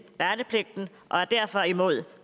værnepligten og er derfor imod